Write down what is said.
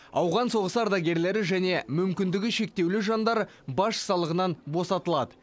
ауған соғысы ардагерлері және мүмкіндігі шектеулі жандар баж салығынан босатылады